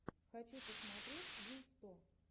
хочу посмотреть вил сто